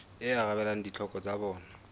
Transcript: e arabelang ditlhoko tsa bona